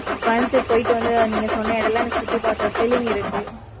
கோயம்புத்தூர் போயிட்டு வந்து, நீங்க சொன்ன இடம் எல்லாம், எனக்கு சுத்தி பார்த்தேன். felling இருக்கு